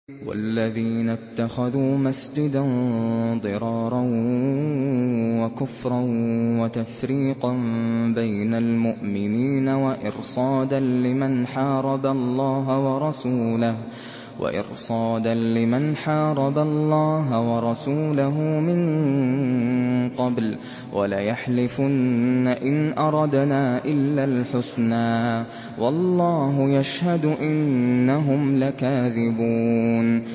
وَالَّذِينَ اتَّخَذُوا مَسْجِدًا ضِرَارًا وَكُفْرًا وَتَفْرِيقًا بَيْنَ الْمُؤْمِنِينَ وَإِرْصَادًا لِّمَنْ حَارَبَ اللَّهَ وَرَسُولَهُ مِن قَبْلُ ۚ وَلَيَحْلِفُنَّ إِنْ أَرَدْنَا إِلَّا الْحُسْنَىٰ ۖ وَاللَّهُ يَشْهَدُ إِنَّهُمْ لَكَاذِبُونَ